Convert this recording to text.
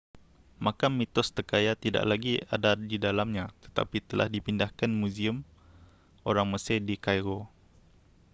makam mitos terkaya tidak lagi ada di dalamnya tetapi telah dipindah ke muzium orang mesir di cairo